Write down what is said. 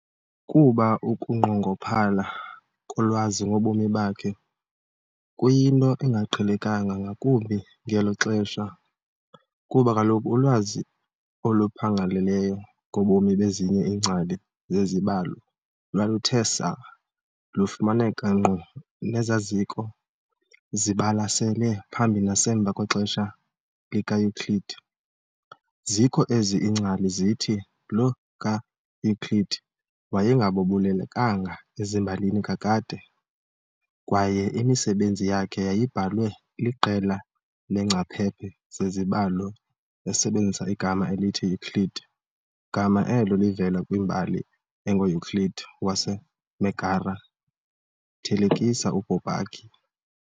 Kuba ukunqongophala kolwazi ngobomi bakhe kuyinto engaqhelekanga ngakumbi ngelo xesha, kuba kaloku ulwazi oluphangaleleyo ngobomi bezinye iingcali zezibalo lwaluthe saa lufumaneka nkqu nezazikho zibalasele phambi nasemva kwexesha likaEuclid, zikho ezi iingcali zithi lo kaEuclid wayengabalulekanga ezimbalini kakade, kwaye imisebenzi yakhe yayibhalwe liqela leengcaphephe zezibalo esebenzisa igama elithi Euclid gama elo livela kwimbali engoEuclid waseMegara, thelekisa uBourbaki.